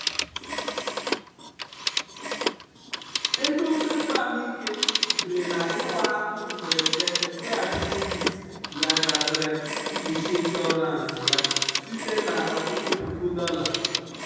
ego mmefu ahụike sitere na-ịwa ahụ mberede nke appendicitis ya gafere mkpuchi ịnshọransị ya site na ọtụtụ puku dollar.